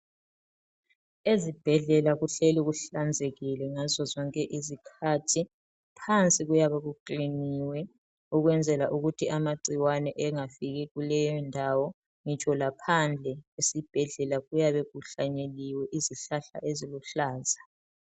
Ezibhedlela kuhleli kuhlanzekile ngazo zonke izikhathi, phansi kuyabe kukiliniwe ukwenzela ukuthi amagcikwane engafiki kuleyo ndawo ngitsho laphandle esibhedlela kuyabe kuhlanyeliwe izihlahla eziluhlaza.